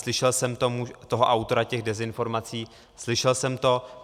Slyšel jsem toho autora těch dezinformací, slyšel jsem to.